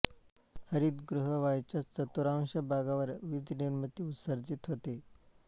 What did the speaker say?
हरितगृह वायूंच्या चतुर्थांश भागावर वीज निर्मिती उत्सर्जित होते